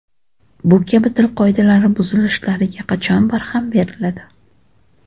Bu kabi til qoidalari buzilishlariga qachon barham beriladi?